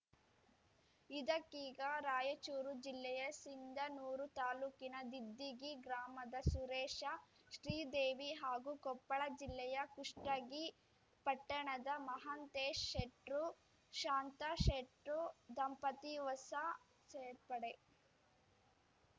ಇದಕ್ಕೀಗ ರಾಯಚೂರು ಜಿಲ್ಲೆಯ ಸಿಂಧನೂರು ತಾಲೂಕಿನ ದಿದ್ದಿಗಿ ಗ್ರಾಮದ ಸುರೇಶಶ್ರೀದೇವಿ ಹಾಗೂ ಕೊಪ್ಪಳ ಜಿಲ್ಲೆಯ ಕುಷ್ಟಗಿ ಪಟ್ಟಣದ ಮಹಾಂತೇಶ್‌ ಶೆಟ್ರು ಶಾಂತಾ ಶೆಟ್ರು ದಂಪತಿ ಹೊಸ ಸೇರ್ಪಡೆ